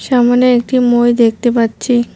সামোনে একটি মই দেখতে পাচ্ছি।